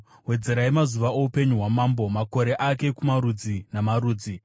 Wedzerai mazuva oupenyu hwamambo, makore ake kumarudzi namarudzi.